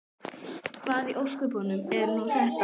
Hvað í ósköpunum er nú þetta?